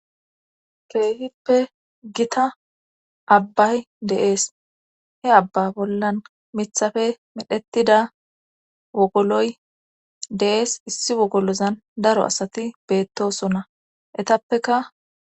keehippe gita abbay de'ees he abba bollan miththappe medhettida wogoloy de'ees issi wogolozan daro asati beettosonna eettappekka